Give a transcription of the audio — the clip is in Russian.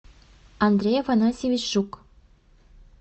андрей афанасьевич жук